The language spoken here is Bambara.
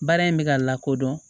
Baara in bɛ ka lakodɔn